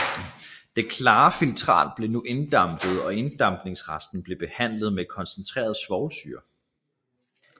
Det klare filtrat blev nu inddampet og inddampningsresten blev behandlet med koncentreret svovlsyre